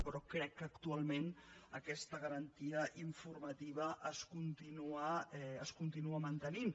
però crec que actualment aquesta garantia informativa es continua mantenint